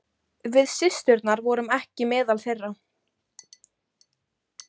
Við systurnar vorum ekki meðal þeirra.